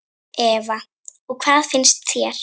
Eva: Og hvað finnst þér?